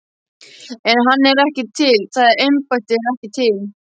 En hann er ekki til, það embætti er ekki til.